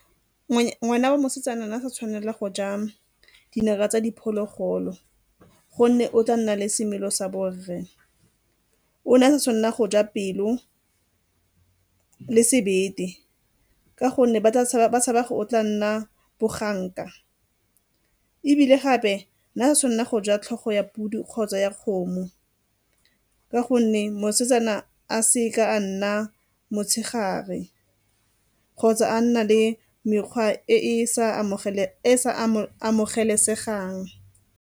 Ngwana wa mosetsana a sa tshwanela go ja tsa diphologolo gonne o tla nna le semelo sa bo rre. O ne a sa tshwanela go ja pelo le sebete ka gonne ba tshaba o tla nna boganka. Ebile gape ne a sa tshwanela go ja tlhogo ya podi kgotsa ya kgomo ka gonne mosetsana a seke a nna motshegare kgotsa a nna le mekgwa e e sa amogelesegang.